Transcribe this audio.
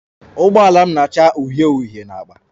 Ụgbọala m na-acha uhie uhie na agba